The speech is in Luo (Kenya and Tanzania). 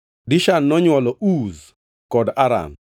Dishan nonywolo: Uz kod Aran.